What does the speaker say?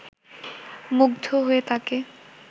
মুগ্ধ হয়ে তাঁকে